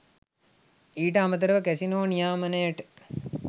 ඊට අමතරව කැසිනෝ නියාමනයට